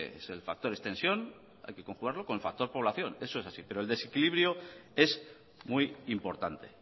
es el factor extensión hay que conjugarlo con el factor población eso es así pero el desequilibrio es muy importante